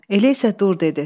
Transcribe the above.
Elə isə dur dedi.